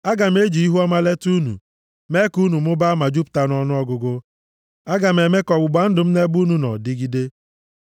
“ ‘Aga m eji ihuọma leta unu, mee ka unu mụbaa ma jupụta nʼọnụọgụgụ. Aga m eme ka ọgbụgba ndụ m nʼebe unu nọ dịgide.